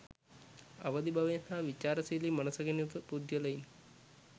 අවදි බවෙන් හා විචාරශීලි මනසකින් යුතු පුද්ගලයන්